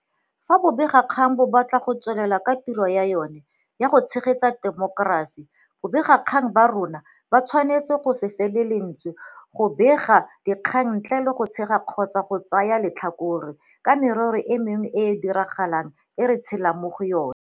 Fa bobegakgang bo batla go tswelela ka tiro ya jone ya go tshegetsa temokerasi, babegakgang ba rona ba tshwanetse go se fele lentswe mo go begeng dikgang ntle le go tshaba kgotsa go tsaya letlhakore ka merero e mengwe e e diragalang e re tshelang mo go yona.